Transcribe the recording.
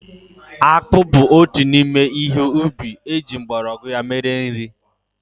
Akpụ bụ otu n'ime ihe ubi eji mgbọrọgwụ ya mere nri.